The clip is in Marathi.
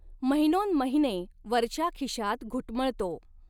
महिनो न् महिने वरच्या खिशात घुटमळतो.